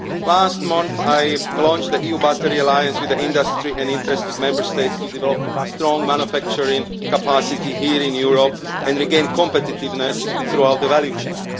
Last month I launched the EU Battery Alliance with industry and interested Member States in order to develop strong manufacturing capacity here in Europe and regain competitiveness throughout the value chain.